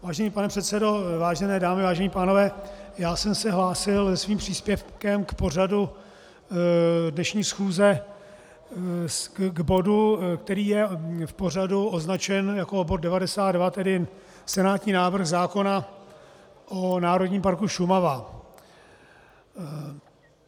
Vážený pane předsedo, vážené dámy, vážení pánové, já jsem se hlásil se svým příspěvkem k pořadu dnešní schůze, k bodu, který je v pořadu označen jako bod 92, tedy senátní návrh zákona o Národním parku Šumava.